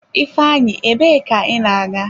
Ifeanyi, ebe ka ị na-aga?